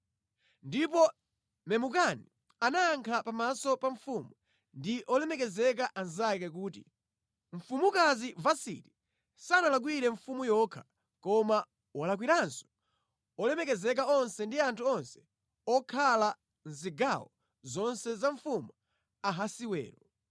Ndipo Memukani anayankha pa maso pa mfumu ndi olemekezeka anzake kuti, “Mfumukazi Vasiti sanalakwire mfumu yokha, koma walakwiranso olemekezeka onse ndi anthu onse okhala mʼzigawo zonse za mfumu Ahasiwero.